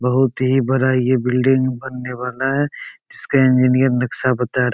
बहुत ही बड़ा ये बिल्डिंग बनने वाला है। इसके इंजीनियर नक्सा बता रह --